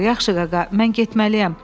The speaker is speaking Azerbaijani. Yaxşı qaqa, mən getməliyəm.